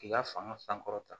K'i ka fanga sankɔrɔta